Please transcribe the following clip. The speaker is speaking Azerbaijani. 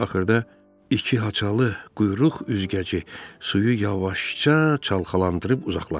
Axırda iki haçalı quyruq üzgəci suyu yavaşca çalxalandırıb uzaqlaşdı.